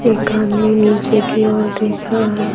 एक आदमी नीचे की ओर देख रहा --